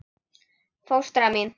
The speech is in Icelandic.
Fóstra mín